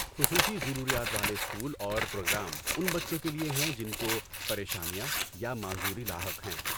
خصوصی ضروریات والے اسکول اور پروگرام ان بچوں کے لیے ہیں جن کو پریشانیاں یا معذوری لاحق ہیں۔